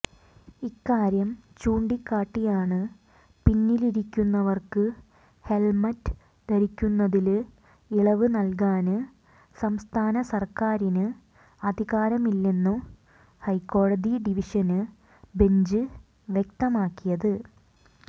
ഇക്കാര്യം ചൂണ്ടിക്കാട്ടിയാണ് പിന്നിലിരിക്കുന്നവര്ക്ക് ഹെല്മറ്റ ധരിക്കുന്നതില് ഇളവ് നല്കാന് സംസ്ഥാന സര്ക്കാരിന് അധികാരമില്ലെന്ന് ഹൈക്കോടതി ഡിവിഷന് ബെഞ്ച് വ്യക്തമാക്കിയത്